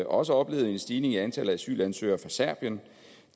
også oplevet en stigning i antallet af asylansøgere fra serbien